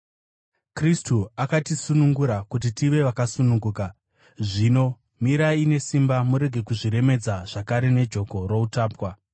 Kristu akatisunungura kuti tive vakasununguka. Zvino, mirai nesimba, murege kuzviremedza zvakare nejoko routapwa.